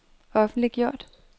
offentliggjort